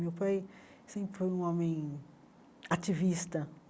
Meu pai sempre foi um homem ativista.